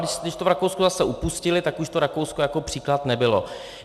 Když to v Rakousku zase upustili, tak už to Rakousko jako příklad nebylo.